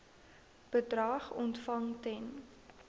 bedrag ontvang ten